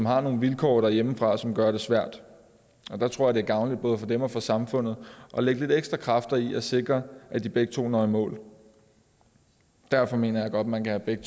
har nogle vilkår derhjemme som gør det svært der tror jeg det er gavnligt både for dem og for samfundet at lægge lidt ekstra kræfter i for at sikre at de begge to når i mål derfor mener jeg godt man kan have begge